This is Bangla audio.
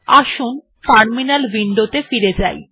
আসুন টার্মিনাল উইন্ডোত়ে ফিরে যাই